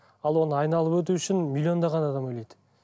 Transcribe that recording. ал оны айналып өту үшін миллиондаған адам ойлайды